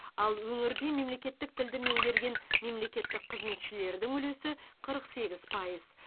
ал өңірде мемлекеттік тілді меңгерген мемлекеттік қызметшілердің үлесі қырық сегіз пайыз